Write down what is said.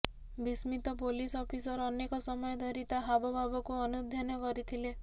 ବିସ୍ମିତ police officer ଅନେକ ସମୟ ଧରି ତା ହାବଭାବକୁ ଅନୁଧ୍ୟାନ କରିଥିଲେ